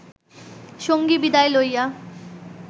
সঙ্গী বিদায় লইয়া